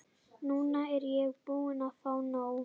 Núna er ég búin að fá nóg.